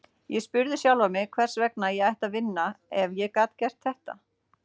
Ég spurði sjálfan mig hvers vegna ég ætti að vinna, ef ég gat gert þetta.